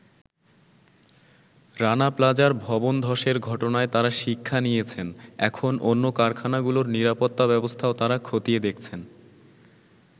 রানা প্লাজার ভবন ধসের ঘটনায় তারা শিক্ষা নিয়েছেন, এখন অন্য কারখানাগুলোর নিরাপত্তা ব্যবস্থাও তারা খতিয়ে দেখছেন।